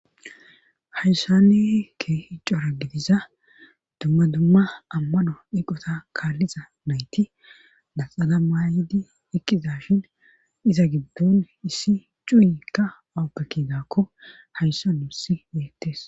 hayssane kehicora gidiza dumma dumma ammano iqota kaalliza nayti laxana maayidi eqqiza shin iza giddon issi cuuyikka awoppekiidakko hayssa nu issi beettes